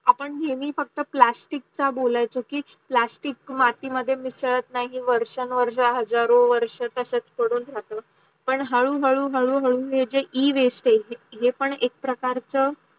आपण नेहमी फक्त plastic चा बोलायचो की plastic मती मध्ये मिसडलं नाही की वर्ष वर्षण हजारो वर्ष तचाच् पडून राहत पण हाडू हाडू हाडू हाडू हे जे e-waste आहे हे पण एक प्रकारच